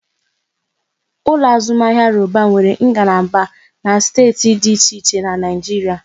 Ụlọ azụmahịa Roban nwere ngalaba na steeti dị iche iche n'Naijiria